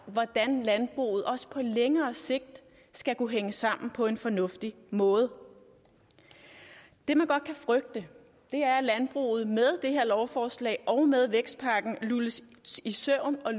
hvordan landbruget også på længere sigt skal kunne hænge sammen på en fornuftig måde det man godt kan frygte er at landbruget med det her lovforslag og med vækstpakken lulles i søvn og